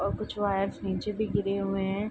और कुछ वायर्स नीचे भी गिरे हुए है।